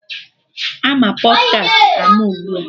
Ama Pọdkast ama ugbua